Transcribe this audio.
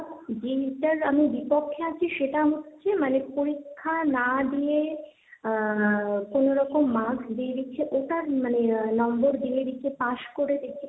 যেইটার আমি বিপক্ষে আছি সেটা হচ্ছে মানে পরীক্ষা না দিয়ে আহ কোনো রকম Mask দিয়ে দিচ্ছে ওটা মানে number দিয়ে দিচ্ছে পাশ করে,